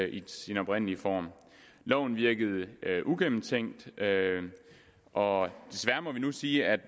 i sin oprindelige form loven virkede uigennemtænkt og desværre må vi nu sige at